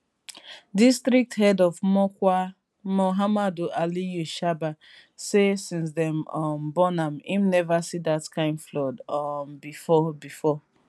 district head of mokwa muhammad aliyu shaba say since dem um born am im neva see dat kain flood um bifor bifor